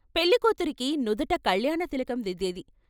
పెళ్ళికూతురికి నుదుట కళ్యాణ తిలకం దిద్దేది.